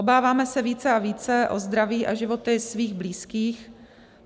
Obáváme se více a více o zdraví a životy svých blízkých.